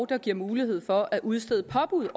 der giver mulighed for at udstede påbud